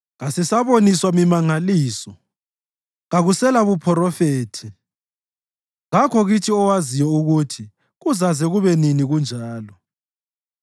Kasisaboniswa mimangaliso; kakuselabuphrofethi, kakho kithi owaziyo ukuthi kuzaze kube nini kunjalo.